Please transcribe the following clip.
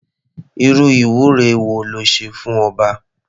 Irú ìwúre wo le ṣe fún ọba?